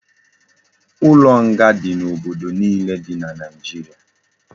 Ulo nga di na obodo niile di na naijiria